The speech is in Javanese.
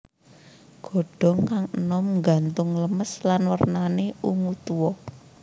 Godhong kang enom nggantung lemas lan wernane ungu tua